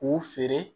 K'u feere